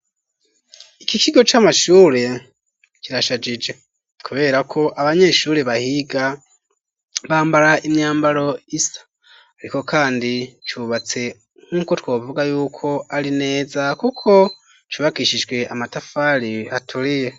Iki kigo c,amashuri kirashajije, kubera ko abanyeshuri bahiga bambara imyambaro isa ,ariko kandi cubatse nk'uko twovuga yuko ari neza kuko cubakishijwe amatafari aturiye.